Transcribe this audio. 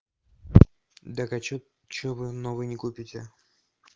так а что что вы новый не купите